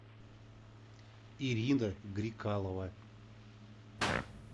ирина грикалова